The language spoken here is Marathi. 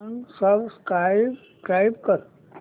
अनसबस्क्राईब कर